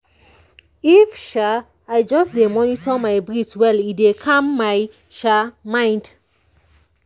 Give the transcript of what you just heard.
if sha i just dey monitor my breathe well e dey calm my sha mind